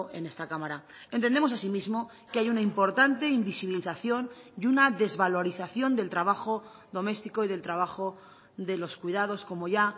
en esta cámara entendemos asimismo que hay una importante invisibilización y una desvalorización del trabajo doméstico y del trabajo de los cuidados como ya